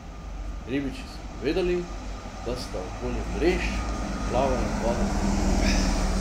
Ribiči so povedali, da sta okoli mrež plavala dva delfina.